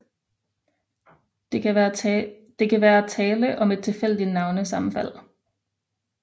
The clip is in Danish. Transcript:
Det kan være tale om et tilfældigt navnesammenfald